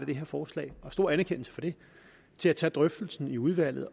det her forslag stor anerkendelse for det til at tage drøftelsen i udvalget